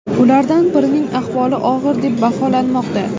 Ulardan birining ahvoli og‘ir deb baholanmoqda.